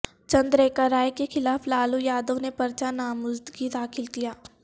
چندریکا رائے کے خلاف لالو یادونے پرچہ نامزدگی داخل کیا